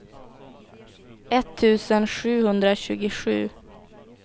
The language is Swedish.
etttusen sjuhundratjugosju